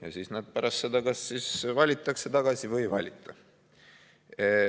Ja siis nad pärast seda kas valitakse tagasi või valita.